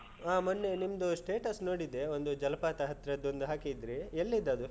ಆಹ್ ಮೊನ್ನೆ ನಿಮ್ದು status ನೋಡಿದೆ, ಒಂದು ಜಲಪಾತ ಹತ್ರದ್ದೊಂದು ಹಾಕಿದ್ದ್ರಿ, ಎಲ್ಲಿದ್ದದು?